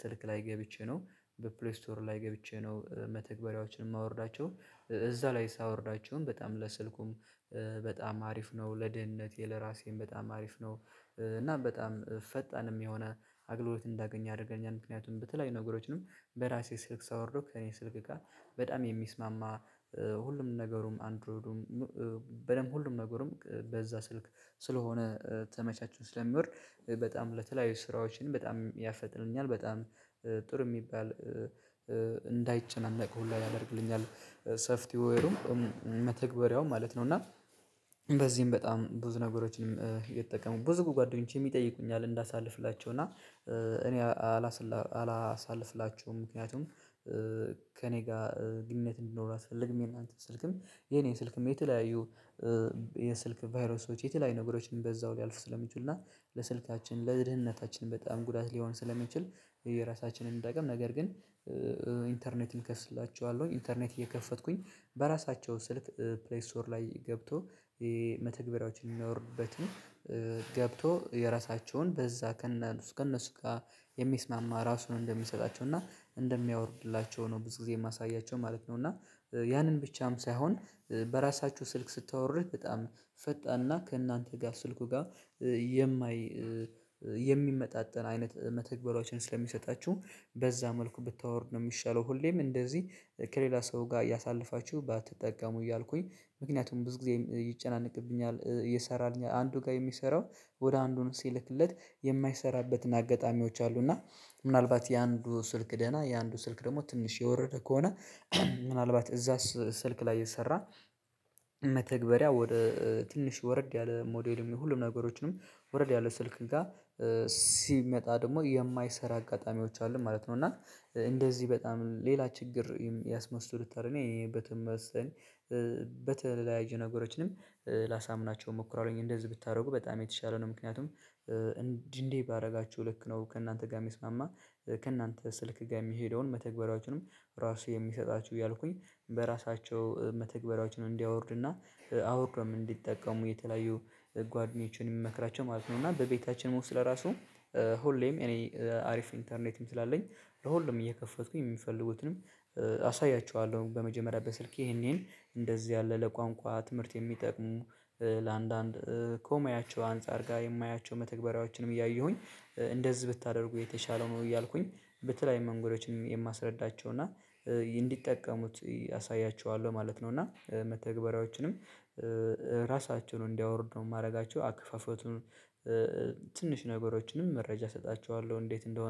ስልክ ላይ ገብቼ ነው በፕሌይ ስቶር ላይ ገብቼ ነው መተግበሪያዎችን የማወርዳቸው እዛ ላይ ሳወርዳቸዉም በጣም ለስልኩም በጣም አሪፍ ነው ለድህንነቴ ለራሴም በጣም አሪፍ ነው። እናም በጣም ፈጣንም የሆነ አገልግሎት እንዳገኘ ያደርገኛል ምክንያቱም በተለያዩ ነገሮችንም በራሴ ስልክ ሳወርደው ከእኔ ስልክ ጋ በጣም የሚስማማ ሁሉም ነገሩም አንድሮይዱም በደንብ ሁሉም ነገርም በዛ ስልክ ስለሆነ ተመቻችቶ ስለሚወርድ በጣም ለተለያዩ ስራዎችን በጣም ያፈጥንልኛል በጣም ጥሩ የሚባል እንዳይጨናነቅ ሁላ ያደርግልኛል ሰፍቲዌሩም መተግበሪያውም ማለት ነው። እና በዚህም በጣም ብዙ ነገሮችንም እየተጠቀሙ ብዙ ጓደኞቼም የጥይቁኛል እንዳሳልፍላቸው እና እኔ አላሳልፍላቸውም ምክንያቱም ከእኔ ጋር ግንኙነት እንዲኖረው አልፈልግም። የእናንተን ስልክም የኔ ስልክም የተለያዩ የስልክ ቫይረሶች የተለያዩ ነገሮችን በዛው ሊያልፍ ስለሚችሉና ለስልካችን ለድህነታችን በጣም ጉዳት ሊሆን ስለሚችል የየራሳችንን እንጠቀም ነገር ግን ኢንተርኔት እከፍትላችኋለሁ ኢንተርኔት እየከፈትኩኝ በራሳቸው ስልክ ፕሌይ ስቶር ላይ ገብተው መተግበሪያዎችን የሚያወርዱበት ነው ገብቶው የራሳቸውን በዛ ከነ ከነሱ ጋር የሚስማማ ራሱን እንደሚሰጣቸው እና እንደሚያወርድላቸው ነው ብዙ ጊዜ የማሳያቸው ማለት ነው። እና ያንን ብቻም ሳይሆን በራሳችሁ ስልክ ስታወርድ በጣም ፈጣንና ከእናንተ ጋር ስልኩ ጋር የማይ የሚመጣጠን አይነት መተግበሪያዎችን ስለሚሰጣችሁ በዛ መልኩ ብታወርድ ነው የሚሻለው ሁሌም እንደዚህ ከሌላ ሰው ጋር እያሳለፋችሁ ባትጠቀሙ እያልኩኝ ምክንያቱም ብዙ ጊዜ ይጨናነቅብኛል እየሰራልኝ አንዱ ጋር የሚሰራው ወደ አንዱ ነው ሲልክለት የማይሰራበት አጋጣሚዎች አሉ። እና ምናልባት የአንዱ ስልክ ደህና የአንዱ ስልክ ደግሞ ትንሽ የወረደ ከሆነ ምናልባት እዛስ ስልክ ላይ የሰራ መተግበሪያ ወደ ትንሽ ወረድ ያለ ሞዴልም ይሁን ሁሉም ነገሮችንም ወረድ ያለ ስልክ ጋር ሲመጣ ደግሞ የማይሰራ አጋጣሚዎች አሉ ማለት ነው። እና እንደዚህ በጣም ሌላ ችግር ያስመስሉታል እኔ በተመሰለኝ በተለያዩ ነገሮችንም ላሳምናቸው እሞክራለሁኝ እንደዚህ ብታደርጉ በጣም የተሻለ ነው ምክንያቱም እንዲህ እንዲህ ባደርጋችሁ ልክ ነው ከእናንተ ጋር የሚስማማ ከእናንተ ስልክ ጋር የሚሄደውን መተግበሪያዎችንም ራሱ የሚሰጣችሁ እያልኩኝ በራሳቸው መተግበሪያዎችን እንዲያወርድና አወርደውም እንዲጠቀሙ የተለያዩ ጓደኞችን የምመክራቸው ማለት ነው። እና በቤታችን ወስጥ ለራሱ ሁሌም እኔ አሪፍ ኢንተርኔትም ስላለኝ ለሁሉም እየከፈትኩኝ የሚፈልጉትንም አሳያችኋለሁ በመጀመሪያ በስልኬ ይሄን ይሄን እንደዚህ ያለ ለቋንቋ ትምህርት የሚጠቅሙ ለአንዳንድ ኮሙያቸው አንፃር ጋር የማያቸው መተግበሪያዎችንም እያየሁኝ እንደዚህ ብታደርጉ የተሻለው ነው እያልኩኝ በተለየዩ መንገዶችን የማስረዳቸው እና እንዲጠቀሙት አሳያችኋለሁ ማለት ነው። እና መተግበሪያዎችንም ራሳችሁን እንዲያወርዱ የማደርጋቸው አክፉፈቱን ትንሽ ነገሮችንም መረጃ እሰጣችኋለሁ እንዴት እንደሆ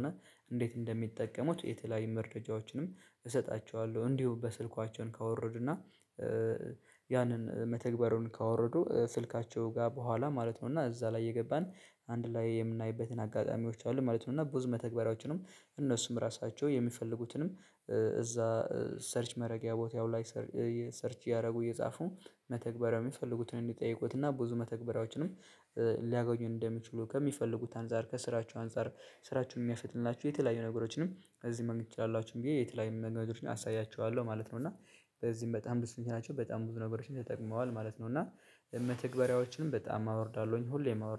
እንዴት እንደሚጠቀሙት የተለያዩ መረጃዎችንም እሰጣቸዋለሁ እንዲሁ በስልኳቸው ካወርዱና ያንን መተግበሪያዉን ካወረዱ ስልካቸው ጋር በኋላ ማለት ነው እና እዛ ላይ እየገባን አንድ ላይ የምናይበትን አጋጣሚዎች አሉ ማለት ነው። እና ብዙ መተግበሪያዎችንም እነሱም ራሳቸው የሚፈልጉትንም እዛ ሰርች መረጊያ ቦታው ላይ ሰርች እያደረጉ እየጻፉ መተግበሪያው የሚፈልጉትን እንዲጠይቁትና ብዙ መተግበሪያዎችንም ሊያጎኙ እንደሚችሉ ከሚፈልጉት አንፃር ከስራቸ አንፃር ስራችሁን የሚያፈጥልናችሁ የተለያዩ ነገሮችንም እዚህ ማግኘት ትችላላችሁ ብዬ የተለያዩ ነገሮችን አሳያችኋለሁ ማለት ነው። እና በዚህም በጣም ብዙ ደስተኞች ናቸው በጣም ብዙ ነገሮችን ተጠቅመዋል ማለት ነው። እና መተግበሪያዎችንም በጣም አወርዳለሁኝ ሁሌም አወርዳለሁኝ